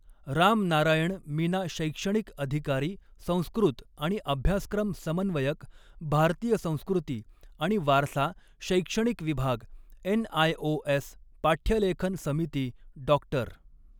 राम नारायण मीना शैक्षणिक अधिकारी संस्कृत आणि अभ्यासक्रम समन्वयक भारतीय संस्कृती आणि वारसा शैक्षणिक विभाग एनआयओ एस पाठयलेखन समिती डॉ.